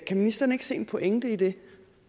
ministeren ikke se en pointe i det